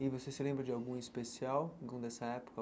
E você se lembra de algum especial algum dessa época?